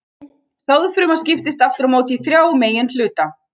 Sáðfruma skiptist aftur á móti í þrjá meginhluta.